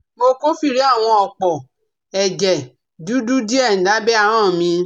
Mo kófìrí àwọn òpó ẹ̀jẹ̀ dúdú díẹ̀ lábẹ́ ahọn mí